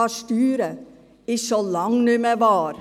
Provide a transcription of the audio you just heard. Das ist schon lange nicht mehr wahr.